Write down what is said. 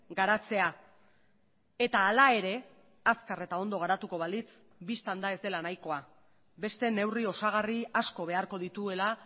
garatzea eta hala ere azkar eta ondo garatuko balitz bistan da ez dela nahikoa beste neurri osagarri asko beharko dituela